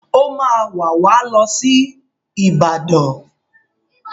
Ó máa wà wá lọ sí Ìbàdàn